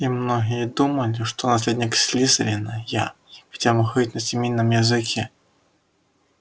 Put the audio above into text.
и многие думали что наследник слизерина я ведь я могу говорить на змеином языке